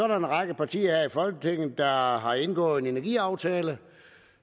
der en række partier her i folketinget der har har indgået en energiaftale